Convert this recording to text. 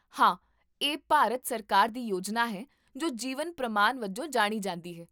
ਹਾਂ, ਇਹ ਭਾਰਤ ਸਰਕਾਰ ਦੀ ਯੋਜਨਾ ਹੈ ਜੋ ਜੀਵਨ ਪ੍ਰਮਾਨ ਵਜੋਂ ਜਾਣੀ ਜਾਂਦੀ ਹੈ